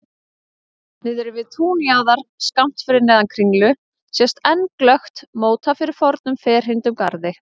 Niðri við túnjaðar, skammt fyrir neðan Kringlu sést enn glöggt móta fyrir fornum ferhyrndum garði.